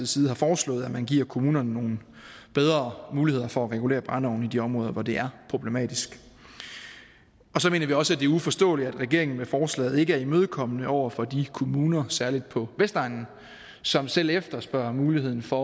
side har foreslået at man giver kommunerne nogle bedre muligheder for at regulere brændeovne i de områder hvor det er problematisk så mener vi også det uforståeligt at regeringen med forslaget ikke er imødekommende over for de kommuner særlig på vestegnen som selv efterspørger muligheden for